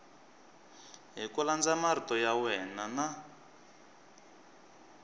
hi marito ya wena n